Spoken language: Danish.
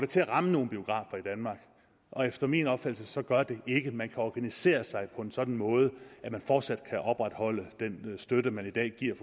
til at ramme nogen biografer i danmark og efter min opfattelse gør det det ikke man kan organisere sig på en sådan måde at man fortsat kan opretholde den støtte man i dag giver